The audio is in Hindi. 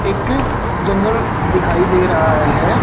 एक जंगल दिखाई दे रहा है।